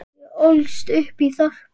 Ég ólst upp í þorpi.